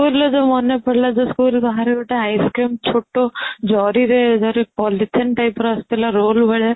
school ରୁ ଯୋଉ ମନେ ପଡିଲା school ବାହାରେ ଯଉ ଗୋଟେ ice cream ଛୋଟ ଜରି ରେ ଯଉ polythene type ରେ ଆସୁ ଥିଲା roll ଭଳିଆ